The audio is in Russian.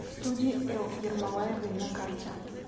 студия л ермолаевой на карте